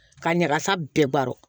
Ka ɲagasa bɛɛ baro